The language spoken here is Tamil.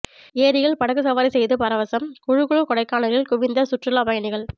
ஏரியில் படகு சவாரி செய்து பரவசம் குளுகுளு கொடைக்கானலில் குவிந்த சுற்றுலாப் பயணிகள்